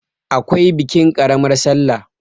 akwai bikin ƙaramar sallah